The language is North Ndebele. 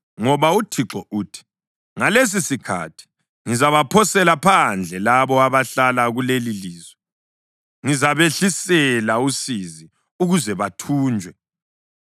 Ngoba uThixo uthi, “Ngalesisikhathi ngizabaphosela phandle labo abahlala kulelilizwe, ngizabehlisela usizi ukuze bathunjwe.”